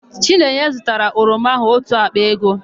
Chinenye zụtara oroma áhụ̀ ótù àkpà ego.